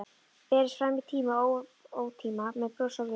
Berist fram í tíma og ótíma, með bros á vör.